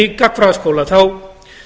í gagnfræðaskóla þá